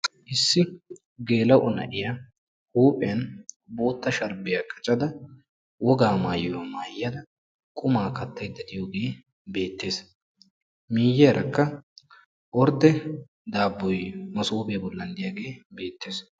Issi geela'o na'iya huuphphiyan bootta sharbbiya qaccada wogga maayuwa maayiyda qummaa kattayida diyogee beettees. Miyiyaarakka ordde daaboy masooppiya bollan diyaagee beettees.